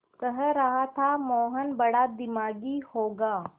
कह रहा था मोहन बड़ा दिमागी होगा